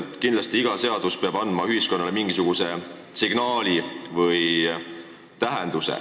Kindlasti, iga seadus peab andma ühiskonnale mingisuguse signaali või sel peab olema mingi tähendus.